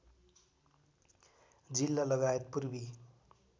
जिल्ला लगायत पूर्वी